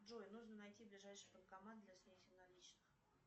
джой нужно найти ближайший банкомат для снятия наличных